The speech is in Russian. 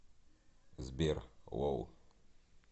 сбер лол